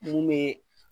Mun bɛ